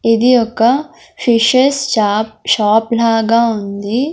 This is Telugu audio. ఇది ఒక్క ఫిషెస్ షాప్ షాప్ లాగా ఉంది.